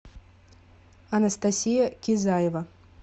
анастасия кизаева